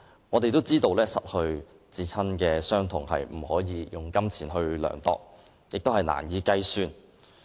我們也知道，失去至親的傷痛，不能用金錢量度，並且難以計算。